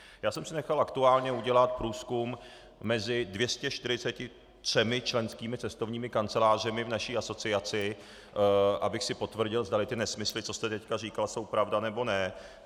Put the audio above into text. Já jsem si nechal aktuálně udělat průzkum mezi 243 členskými cestovními kancelářemi v naší asociaci, abych si potvrdil, zdali ty nesmysly, co jste teď říkal, jsou pravda, nebo ne.